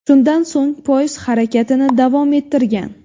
Shundan so‘ng poyezd harakatini davom ettirgan.